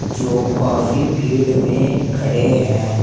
जो काफी भीड़ में खड़े हैं।